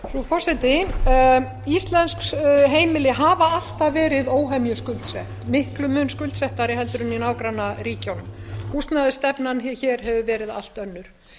frú forseti íslensk heimili hafa alltaf verið óhemju skuldsett miklum mun skuldsettari heldur en í nágrannaríkjunum húsnæðisstefnan hér hefur verið allt önnur